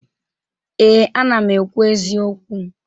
Ee, ana m ekwu eziokwu.